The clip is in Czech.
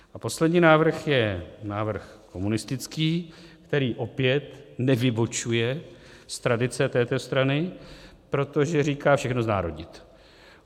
A poslední návrh je návrh komunistický, který opět nevybočuje z tradice této strany, protože říká - všechno znárodnit.